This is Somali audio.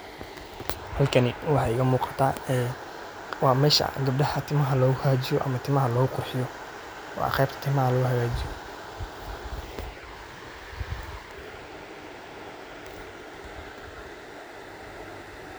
halkaani waaxa iga muqaata waa mesha gabdaaha timaaha lagu haagajiyo ama lagu qurxiiyo waa qeeb timaaha lo haagajiiyo